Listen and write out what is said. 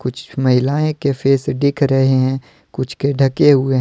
कुछ महिलाएं के फेस दिख रहे हैं कुछ के ढके हुए हैं।